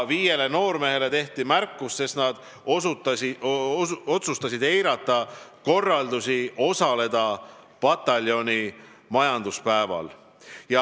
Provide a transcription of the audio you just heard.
Viiele noormehele tehti märkus, sest nad otsustasid eirata korraldust osaleda pataljoni majanduspäeval.